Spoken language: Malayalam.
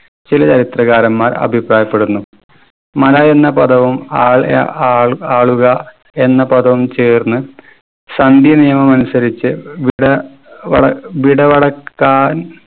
ചില ചരിത്രകാരന്മാർ അഭിപ്രായപ്പെടുന്നു. മല എന്ന പദവും ആൾയ ആൾ ആളുക എന്ന പദവും ചേർന്ന് സന്ധി നിയമം അനുസരിച്ച് വിട വള വിടവളക്കാൻ